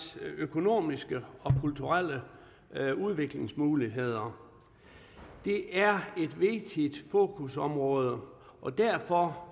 økonomiske og kulturelle udviklingsmuligheder det er et vigtigt fokusområde og derfor